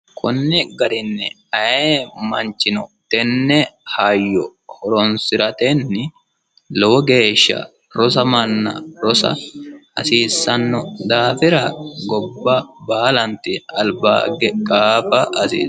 kunni garinni aye manchino tenne hayyo horonsi'ratenni lowo geeshsha rosamanna rosa hasiissanno daafira gobba baalanti albage qaafa hasiisao